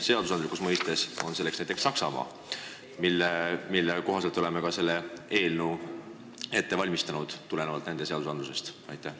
Seadusandluse poolest on meile eeskujuks Saksamaa ja oleme ka selle eelnõu koostanud nende seadusest lähtudes.